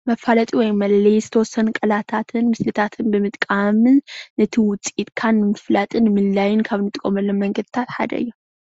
መፋለጥን ወይ መለለይ ዝተወሰኑ ቃላታትን ምስልታት ብምጥቃም ብምጥቃምን እቲ ውፅኢትካ ንምፍላጥ ንምልላይን ካብ እንጥቀመሎም መንገድታት ሓደ እዩ፡፡